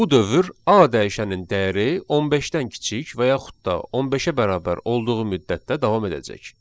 Bu dövr a dəyişənin dəyəri 15-dən kiçik və yaxud da 15-ə bərabər olduğu müddətdə davam edəcək.